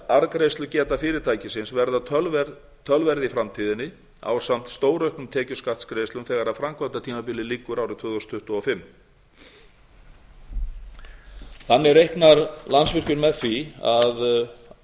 mun arðgreiðslugeta fyrirtækisins verða töluverð í framtíðinni ásamt stórauknum tekjuskattsgreiðslum þegar framkvæmdatímabili lýkur árið tvö þúsund tuttugu og fimm þannig reiknar landsvirkjun með því að